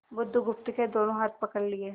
बुधगुप्त के दोनों हाथ पकड़ लिए